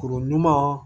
Kuru ɲuman